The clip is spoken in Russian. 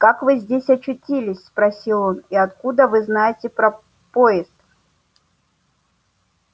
как вы здесь очутились спросил он и откуда вы знаете про поезд